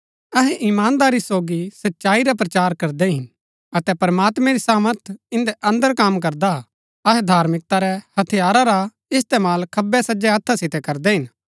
अहै इमानदारी सोगी सच्चाई रा प्रचार करदै हिन अतै प्रमात्मैं री सामर्थ इन्दै अन्दर कम करदा हा अहै धार्मिकता रै हथियारा रा इस्तेमाल खब्बैसजै हत्था सितै करदै हिन